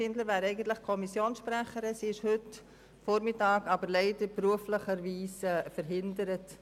Sie wäre eigentlich Kommissionssprecherin, ist aber heute Vormittag leider beruflich verhindert.